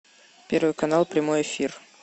первый канал прямой эфир